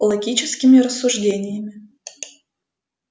логическими рассуждениями